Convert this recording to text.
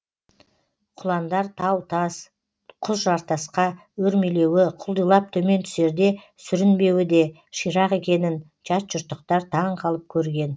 құландар тау тас құз жартасқа өрмелеуі құлдилап төмен түсерде сүрінбеуі де ширақ екенін жатжұрттықтар таң қалып көрген